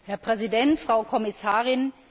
Herr Präsident, Frau Kommissarin!